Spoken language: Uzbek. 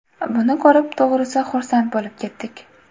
Buni ko‘rib, to‘g‘risi, xursand bo‘lib ketdik.